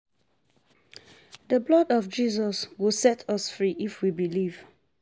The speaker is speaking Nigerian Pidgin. The blood of Jesus go set us free if we believe